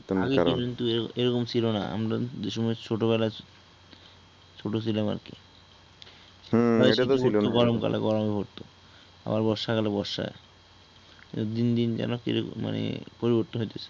আগে কিন্তু এরকম ছিলো না আমরা কিন্তু যেসময় ছোটবেলাই ছোট ছিলাম আরকি হুম এইটা ত সত্যি ভাই গরম কালে গরম পড়তো আবার বর্ষা কালে বর্ষা দিন দিন যেনো কিরকম মানে পরিবর্তন হয়তেসে ।